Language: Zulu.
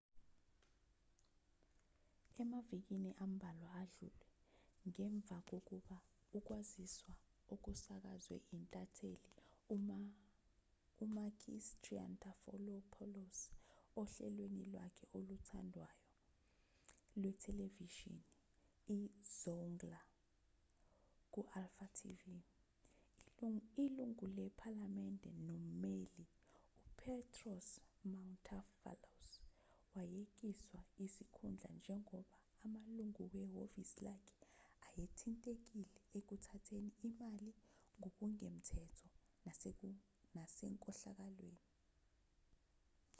emavikini ambalwa adlule ngemva kokuba ukwaziswa okusakazwe intatheli umakis triantafylopoulos ohlelweni lwakhe okuthandwayo lwethelevishini izoungla ku-alfa tv ilungu lephalamende nommeli upetros mantouvalos wayekiswa isikhundla njengoba amalungu wehhovisi lakhe ayethintekile ekuthatheni imali ngokungemthetho nasenkohlakalweni